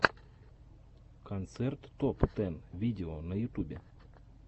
концерт топ тэн видео на ютубе